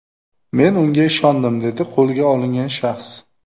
Men unga ishondim”, dedi qo‘lga olingan shaxs.